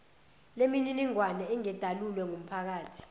lemininingwane ingedalulwe kumphakathi